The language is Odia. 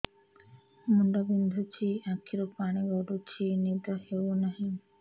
ମୁଣ୍ଡ ବିନ୍ଧୁଛି ଆଖିରୁ ପାଣି ଗଡୁଛି ନିଦ ହେଉନାହିଁ